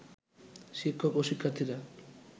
শিক্ষক ও শিক্ষার্থীরা